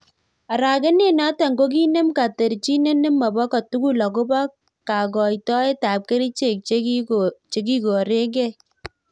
Arakenet notok ko kinem katarchinet nemopoo kotugul agopoo kakaitoet ap kericheek chekikoregei